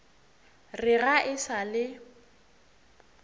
re ga e sa le